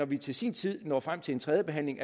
vi til sin tid når frem til en tredje behandling